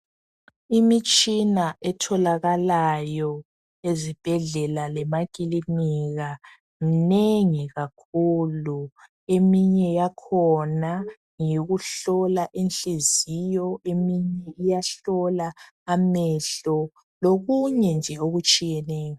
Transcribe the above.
Imitshina etholakalayo ezibhedlela lemakilinika minengi kakhulu. Eminye yakhona ngekuyohlola inhliziyo, eminye iyahlola amehlo lokunye nje okutshiyeneyo.